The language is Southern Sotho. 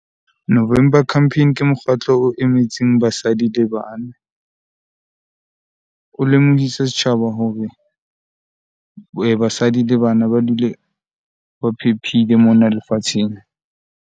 November campaign ke mokgatlo o emetseng basadi le bana . O lemohisa setjhaba hore basadi le bana ba dule ba phephile mona lefatsheng.